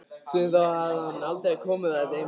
Síðan þá hafði hann aldrei komið á þetta heimili.